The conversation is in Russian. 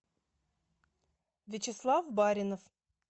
вячеслав баринов